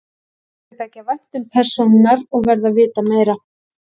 Mér fer að þykja vænt um persónurnar og verð að vita meira.